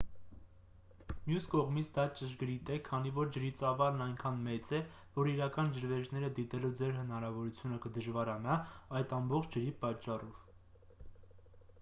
մյուս կողմից դա ճշգրիտ է քանի որ ջրի ծավալն այնքան մեծ է որ իրական ջրվեժները դիտելու ձեր հնարավորությունը կդժվարանա այդ ամբողջ ջրի պատճառով